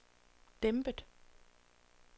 dæmpet